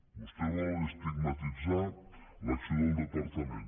vostè vol estigmatitzar l’acció del departament